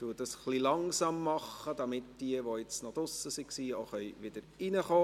Ich leite diese etwas langsam ein, damit jene, die draussen waren, wieder hereinkommen können.